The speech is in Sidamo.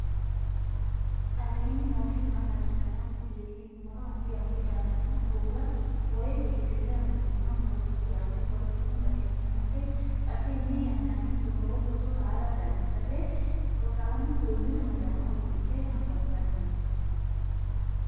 aleenni nooti maa xawisanno misileeti yinummoro addi addi dananna kuula woy biinfille amaddino footooti yaate qoltenno baxissannote xa tenne yannanni togoo footo haara danchate rosaano duume uddano uddidhe nababbanni no